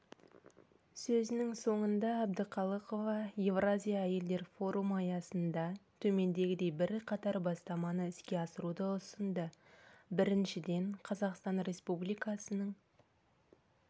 сөзінің соңында әбдіқалықова еуразия әйелдер форумы аясында төмендегідей бірқатар бастаманы іске асыруды ұсынды біріншіден қазақстан республикасының